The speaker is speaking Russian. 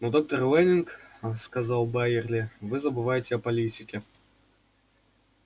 но доктор лэннинг сказал байерли вы забываете о политике